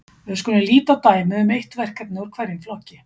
við skulum líta á dæmi um eitt verkefni úr hverjum flokki